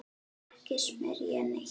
Ekki smyrja neitt.